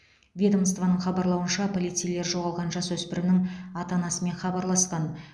ведомствоның хабарлауынша полицейлер жоғалған жасөспірімнің ата анасымен хабарласқан